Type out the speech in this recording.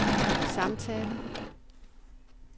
samtale